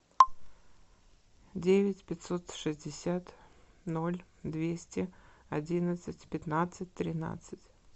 девять пятьсот шестьдесят ноль двести одиннадцать пятнадцать тринадцать